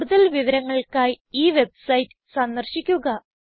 കൂടുതൽ വിവരങ്ങൾക്കായി ഈ വെബ്സൈറ്റ് സന്ദർശിക്കുക